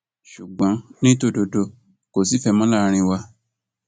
ṣùgbọn ní tòdodo kò sífẹẹ mọ láàrin wa